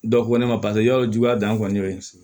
Dɔ ko ne ma paseke yɔrɔ juguya dan kɔni